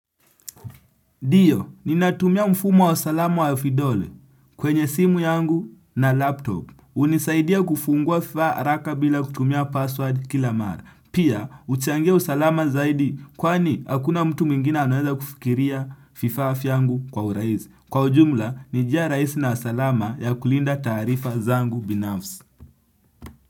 Ndyo, ninatumia mfumo wa usalama wa vidole kwenye simu yangu na laptop. Hunisaidia kufungua vifaa haraka bila kutumia password kila mara. Pia, huchangia usalama zaidi kwani hakuna mtu mwingina anaweza kufikiria vifaa vyangu kwa urahisi. Kwa ujumla, ni njia rahisi na salama ya kulinda taarifa zangu binafsi.